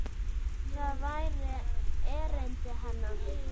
Það væri erindi hennar.